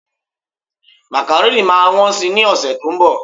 macaroni ma won sì ni ọsẹ ti onbo